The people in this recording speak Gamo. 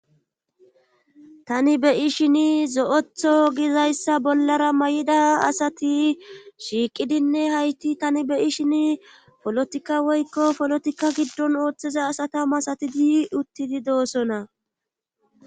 tani beyishini zo7etho gizayssa bollara may7ida asati shiiqidinne hayti tani beyi shin polotikka woykko polotikka giddon ooththiza asata masatidi uttidi doossona